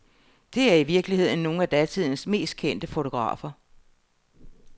Det er i virkeligheden nogle af datidens mest kendte fotografer.